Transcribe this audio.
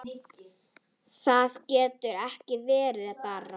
Það getur ekki verið, barn!